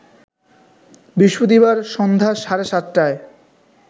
বৃহস্পতিবার সন্ধ্যা সাড়ে ৭টায়